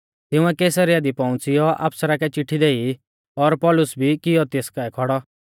तिंउऐ कैसरिया दी पौउंच़ियौ आफसरा कै चिट्ठी देई और पौलुस भी किऔ तेस काऐ खौड़ौ